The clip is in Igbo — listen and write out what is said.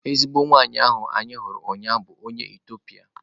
Ezigbo nwanyị ahụ anyị hụrụ ụnyaahụ bụ onye Etiopia